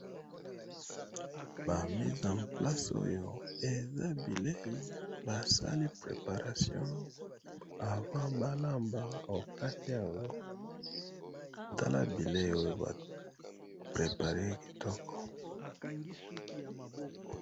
Ba misé en place oyo eza bileyi basali préparation avant balamba bakati yango tala bileyi oyo ba préparer kitoko.